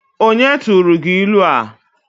Onye tụrụ gị ịlụ a?